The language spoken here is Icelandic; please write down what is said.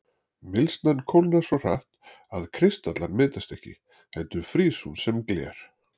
Mylsnan kólnar svo hratt að kristallar myndast ekki heldur frýs hún sem gler.